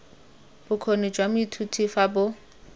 bokgoni jwa moithuti fa bo